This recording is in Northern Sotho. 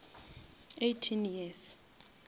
eighteen years